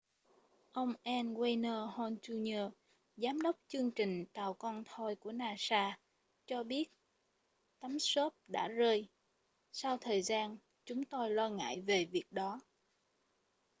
ông n wayne hale jr giám đốc chương trình tàu con thoi của nasa cho biết tấm xốp đã rơi sau thời gian chúng tôi lo ngại về việc đó